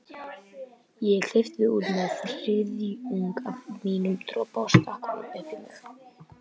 Ég klippti út um þriðjung af mínum dropa og stakk honum upp í mig.